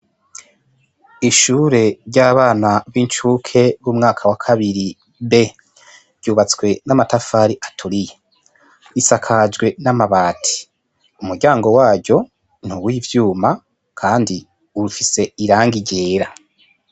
Ishure ry'abana b'incuke b'umwaka wa kabiri be ryubatswe n'amatafari aturiye isakajwe n'amabati umuryango wayo ntuwe ivyuma, kandi urufise iranga irera.